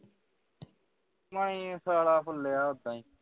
ਮਣੀ ਸਾਲਾ ਫੁੱਲਿਆ ਔਦਾ ਹੀ